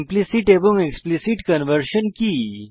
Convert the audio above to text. implicit এবং explicit conversion কি